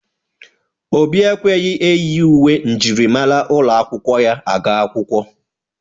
Obi ekweghi enyi uwe myịrịmara ụlọ akwụkwọ ya aga akwụkwọ